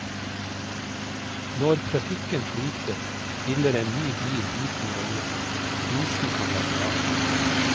Når trafikken flyter, spiller en ny bil liten rolle, og prisen kan være lav.